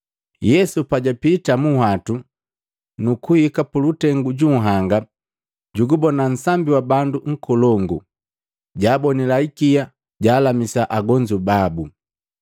Yesu pajapita mu nhuwatu nukuhika mulutengu ju nhanga jugubona nsambi wa bandu nkolongu, jaabonila ikia, jaalamisa agonzu babu.